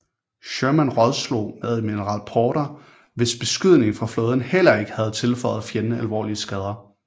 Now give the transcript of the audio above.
Sherman rådslog med admiral Porter hvis beskydning fra flåden heller ikke havde tilføjet fjenden alvorlige skader